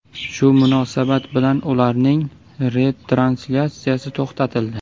Shu munosabat bilan ularning retranslyatsiyasi to‘xtatildi.